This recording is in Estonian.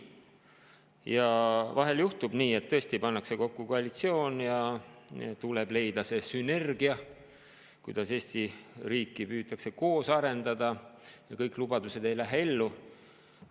Vahel tõesti juhtub nii, et pannakse kokku koalitsioon ja tuleb leida see sünergia, kuidas Eesti riiki koos arendada, ja kõik lubatu ei ellu.